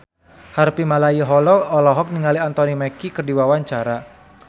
Harvey Malaiholo olohok ningali Anthony Mackie keur diwawancara